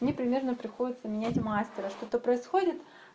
мне примерно приходится менять мастера что-то происходит